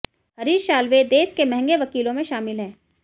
हरीश साल्वे देश के महंगे वकीलों में शामिल हैं